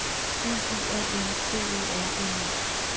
N U A N C E R N E